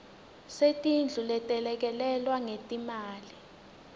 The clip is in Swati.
setindlu letelekelelwe ngetimali